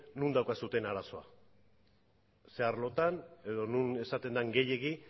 non daukazue arazoa zein arlotan edo non esaten den gehiegi